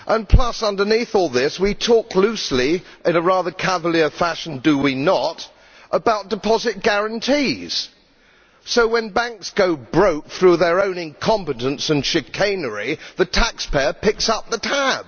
Plus, underneath all this, we talk loosely in a rather cavalier fashion, do we not about deposit guarantees. So when banks go broke through their own incompetence and chicanery, the taxpayer picks up the tab.